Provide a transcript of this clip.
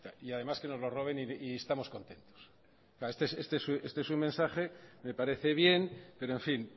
y además que nos lo roben y estamos contentos este es un mensaje me parece bien pero en fin